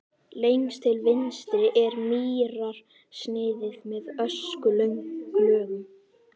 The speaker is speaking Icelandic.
Lengst til vinstri er mýrarsniðið með öskulögum.